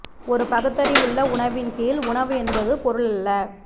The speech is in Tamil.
ஒரு பகுத்தறிவுள்ள உணவின் கீழ் உணவு என்பது பொருள் அல்ல